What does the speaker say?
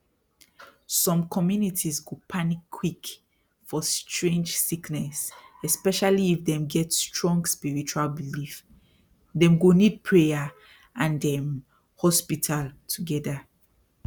some communities go panic quick for strange sickness especially if dem get strong spiritual belief dem go need prayer and um hospital together